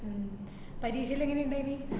പരീക്ഷ എല്ലം എങ്ങനെ ഇണ്ടായീന്ന്?